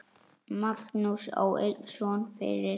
Magnús á einn son fyrir.